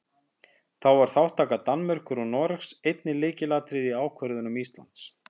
Þá var þátttaka Danmerkur og Noregs einnig lykilatriði í ákvörðun Íslands.